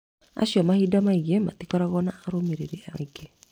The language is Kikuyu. Acio mahinda maingĩ matikoragwo na arũmĩrĩri aingĩ